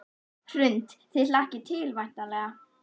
Hrund: Þið hlakkið til væntanlega?